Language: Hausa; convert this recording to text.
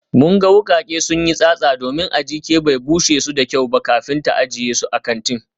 Mun ga wukake sun yi tsatsa domin Ajike bai bushe su da kyau ba kafin ta ajiye su a kantin